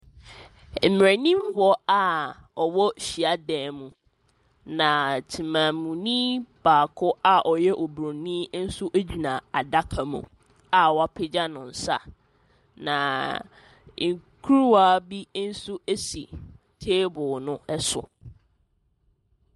Mmeranimfoɔ a wɔwɔ hyiadan mu, na tsemammuni baako a ɔyɛ obronin nso gyina adaka mu a wɔapagya ne nsa. Na kurawa bi nso si table ne so.